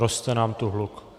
Roste nám tu hluk.